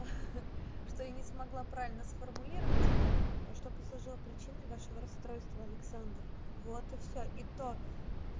ха-ха что я не смогла правильно сформулировать это что послужило причиной вашего расстройства александр вот и всё и то